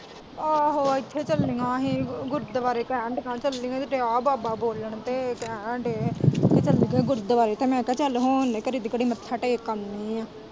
ਆਓ ਇੱਥੇ ਚੱਲੀਆਂ ਹੀ ਗੁਰਦੁਆਰੇ ਕਹਿਣ ਤਾਂ ਦਈ ਏ ਚੱਲੀ ਏ ਦਿਆਂ ਬਾਬਾ ਬੋਲਣ ਕਹਿਣ ਦਏ ਏ ਇੱਥੇ ਚੱਲੀ ਏ ਗੁਰਦੁਆਰੇ ਮੈਂ ਕਿਹਾ ਚੱਲ ਹੋ ਆਉਣੇ ਘੜੀ ਦੀ ਘੜੀ ਮੱਥਾ ਟੇਕ ਆਉਣੇ ਏ।